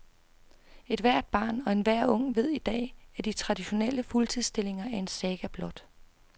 Ethvert barn og enhver ung ved i dag, at de traditionelle fuldtidsstillinger er en saga blot.